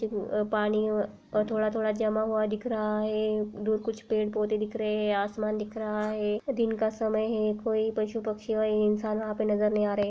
पानी और थोड़ा-थोड़ा जमा हुआ दिख रहा है। दूर कुछ पेड़ पौध दिख रहे है। आसमान दिख रहा है। दिन का समय है। कोई पशु पक्षी या कोई इंसान वहां पे नजर नहीं आ रहे --